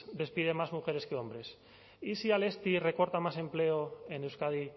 despide más mujeres que hombres y si alestis recorta más empleo en euskadi